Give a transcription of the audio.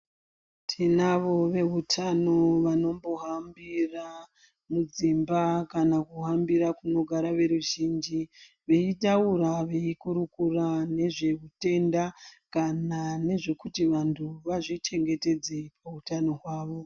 Tinavo vehutano vanombohambira mudzimba kana kuhambira kunogara veruzhinji veitaura veikurukura ngezveutenda kana ngezvekuti vantu vazvichengetedze pautano hwavo.